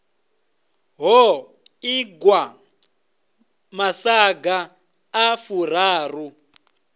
ho ingwa masaga a furaru